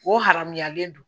O haramuyalen don